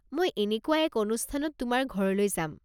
মই এনেকুৱা এক অনুষ্ঠানত তোমাৰ ঘৰলৈ যাম।